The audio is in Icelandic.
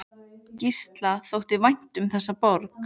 Gísla þótti vænt um þessa borg.